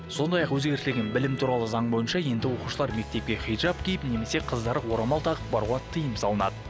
сондай ақ өзгешілігін білім туралы заң бойынша енді оқушылар мектепке хиджаб киіп немесе қыздары орамал тағып баруға тиым салынады